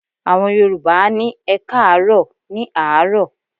Àwọn Yorùbá á ní "ẹkáàárọ̀" ní àárọ̀.